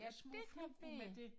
Ja det rigtigt